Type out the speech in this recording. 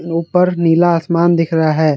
ऊपर नीला आसमान दिख रहा है।